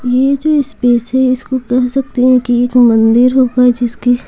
ये जो स्पेस है इसको कह सकते हैं कि एक मंदिर होगा जिसकी--